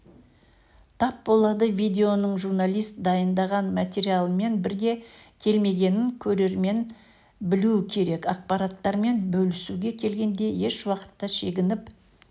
тап болады видеоның журналист дайындаған материалмен бірге келмегенін көрермен білуі керек ақпараттармен бөлісуге келгенде ешуақытта шегініп